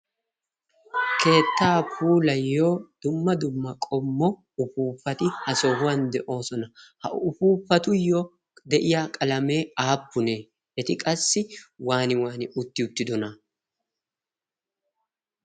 keettaa puulayyo dumma dumma qommo ufuufati ha sohuwan de7oosona. ha ufuufatuyyo de7iya qalamee aappunee? eti qassi waani wani utti uttidona?